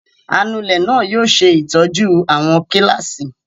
Anulẹ̀ náà yóò ṣe ìtọ́jú àwọn kíláàsì.